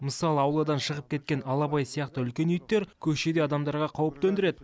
мысалы ауладан шығып кеткен алабай сияқты үлкен иттер көшеде адамдарға қауіп төндіреді